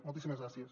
moltíssimes gràcies